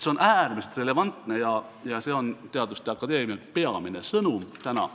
See on äärmiselt relevantne ja see on teaduste akadeemia peamine sõnum täna.